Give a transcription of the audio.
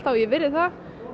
ég virði það